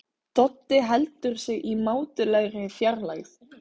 Doddi heldur sig í mátulegri fjarlægð.